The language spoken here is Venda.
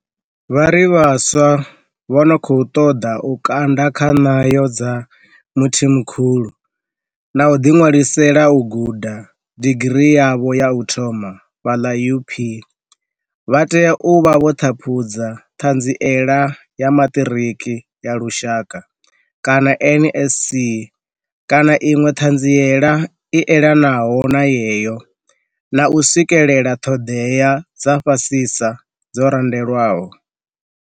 Vha ri vhaswa vha no khou ṱoḓa u kanda kha ṋayo dza Mthimkhulu na u ḓiṅwalisela u guda digirii yavho ya u thoma fhaḽa UP vha tea u vha vho ṱhaphudza Ṱhanziela ya Maṱiriki ya Lushaka, NSC, kana iṅwe ṱhanziela i elanaho na yeyo, na u swikelela ṱhoḓea dza fhasisa dzo randelwaho.